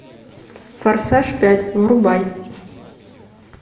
форсаж пять врубай